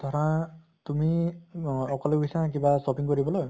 ধৰা তুমি অ অকলে গৈছা কিবা shopping কৰিবলৈ